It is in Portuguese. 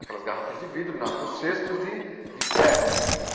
Aquelas garrafas de vidro na nos cestos de de ferro, né?